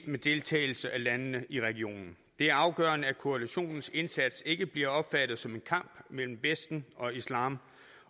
med deltagelse af landene i regionen det er afgørende at koalitionens indsats ikke bliver opfattet som en kamp mellem vesten og islam